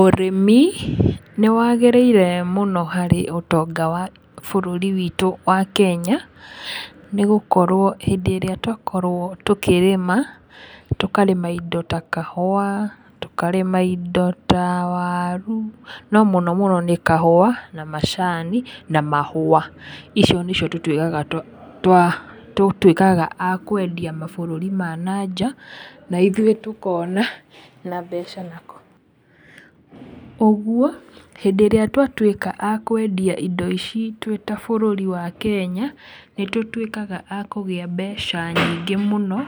Ũrĩmi nĩ waagĩrĩire mũno harĩ ũtonga wa bũrũri witũ wa Kenya. Nĩ gũkorwo hĩndĩ ĩrĩa twakorwo tũkĩrĩma tũkarĩma indo ta kahũa, tũkarĩma indo ta waru, no mũno mũno nĩ macani na mahũa. Icio nĩcio tũtuĩkaga a kwendia mabũrũri ma na nja na ithuĩ tũkona na mbeca na. Ũguo hĩndĩ ĩrĩa twatuĩka a kwendia indo ici twĩ ta bũrũri wa Kenya nĩ tũtuĩkaga a kũgĩa mbeca nyingĩ mũno,